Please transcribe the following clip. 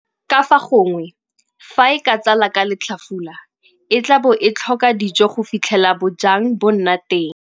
Ka fa gongwe, fa e ka tsala ka letlhafula, e tla bo e tlhoka dijo go fitlhela bojang bo nna teng.